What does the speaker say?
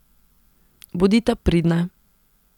Bodita pridna.